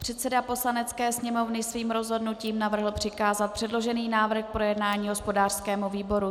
Předseda Poslanecké sněmovny svým rozhodnutím navrhl přikázat předložený návrh k projednání hospodářskému výboru.